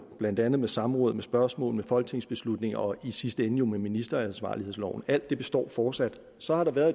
blandt andet ved samråd spørgsmål folketingsbeslutninger og i sidste ende med ministeransvarlighedsloven alt det består fortsat så har der været